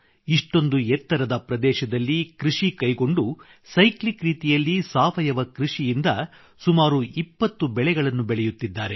ಇಷ್ಟೊಂದು ಎತ್ತರದ ಪ್ರದೇಶದಲ್ಲಿ ಕೃಷಿ ಕೈಗೊಂಡು ಸೈಕ್ಲಿಕ್ ರೀತಿಯಲ್ಲಿ ಸಾವಯವ ಕೃಷಿಯಿಂದ ಸುಮಾರು 20 ಬೆಳೆಗಳನ್ನು ಬೆಳೆಯುತ್ತಿದ್ದಾರೆ